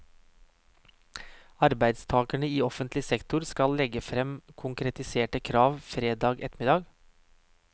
Arbeidstagerne i offentlig sektor skal legge frem konkretiserte krav fredag ettermiddag.